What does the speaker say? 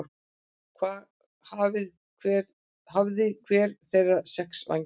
Hafði hver þeirra sex vængi.